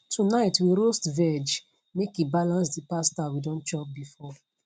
tonight we roast veg make e balance the pasta we don chop before